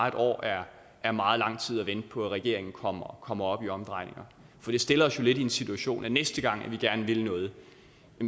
et år er er meget lang tid at vente på at regeringen kommer kommer op i omdrejninger for det stiller os jo lidt i den situation at næste gang vi gerne vil noget